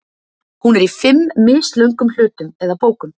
Hún er í fimm mislöngum hlutum eða bókum.